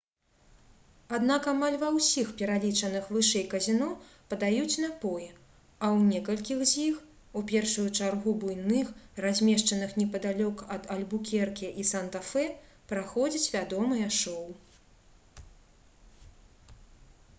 аднак амаль ва ўсіх пералічаных вышэй казіно падаюць напоі а ў некалькіх з іх у першую чаргу буйных размешчаных непадалёк ад альбукерке і санта-фе праходзяць вядомыя шоу